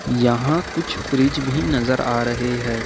यहां कुछ फ्रिज भी नजर आ रहे हैं ।